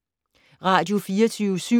Radio24syv